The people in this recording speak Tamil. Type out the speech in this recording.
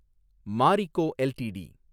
மாரிக்கோ எல்டிடி